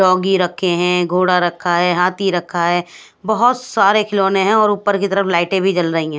Doggy रखे है घोड़ा रखा है हाथी रखा है बहोत सारे खिलौने है और ऊपर की तरफ लाइटें भी जल रही है।